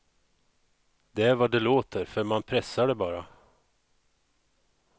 Det är vad det låter, för man pressar det bara.